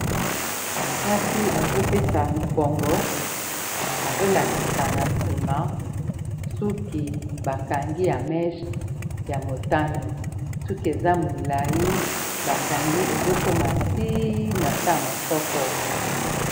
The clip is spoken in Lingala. mwasi azopesa mokongo azolakisa na sima suki bakangi ya meche ya motane suki eza molai bakangi ezokoma ti na se ya masoko